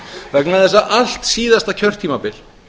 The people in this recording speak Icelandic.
vegna þess að allt síðasta kjörtímabil